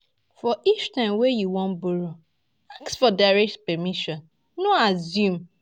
For each time wey you wan borrow, ask for direct permission, no assume